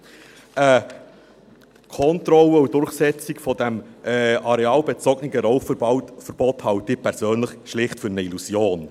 Eine Kontrolle und Durchsetzung dieses arealbezogenen Rauchverbots halte ich persönlich schlicht für eine Illusion.